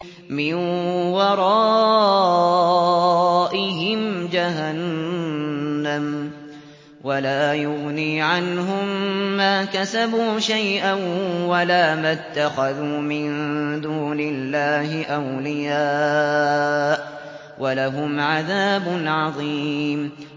مِّن وَرَائِهِمْ جَهَنَّمُ ۖ وَلَا يُغْنِي عَنْهُم مَّا كَسَبُوا شَيْئًا وَلَا مَا اتَّخَذُوا مِن دُونِ اللَّهِ أَوْلِيَاءَ ۖ وَلَهُمْ عَذَابٌ عَظِيمٌ